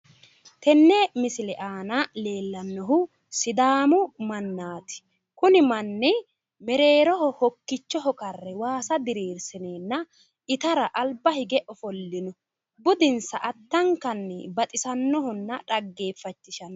tenne misile aana leellannohu sidaamu mannaati kuni manni mereeroho hokkichoho waasa karre diriirsineenna itara alba hige ofollino budinsa addankanni baxisannohonna xaggeeffachishannoho'